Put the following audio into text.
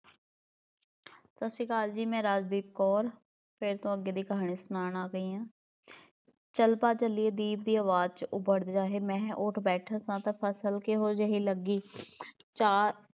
ਸਤਿ ਸ੍ਰੀ ਅਕਾਲ ਜੀ ਮੈਂ ਰਾਜਦੀਪ ਕੌਰ ਫਿਰ ਤੋਂ ਅੱਗੇ ਦੀ ਕਹਾਣੀ ਸੁਣਾਉਣ ਆ ਗਈ ਹਾਂ ਚੱਲ ਭਾ ਚਲੀਏ ਦੀਪ ਦੀ ਅਵਾਜ਼ 'ਚ ਉੱਭੜਵਾਹੇ ਮੈਂ ਉੱਠ ਬੈਠਾਂ ਸਾਂ ਤਾਂ ਫ਼ਸਲ ਕਿਹੋ ਜਿਹੀ ਲੱਗੀ ਚਾ~